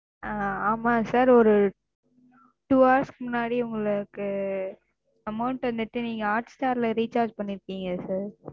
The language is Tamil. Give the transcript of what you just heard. ஆ ஆமா Sir ஒரு Two hours க்கு முன்னாடி உங்களுக்கு Amount வந்துட்டு நீங்க Hotstar ல Recharge பண்ணிருக்கீங்க Sir,